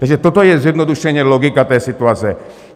Takže toto je zjednodušeně logika té situace.